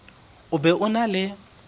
o be o na le